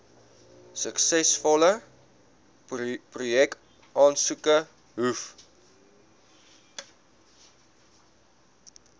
suksesvolle projekaansoeke hoef